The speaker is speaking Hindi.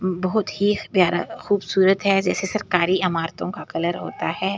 ऊं बहुत ख प्‍यारा खूबसूरत है जैसे सरकारी अमारतों का कलर होता है ।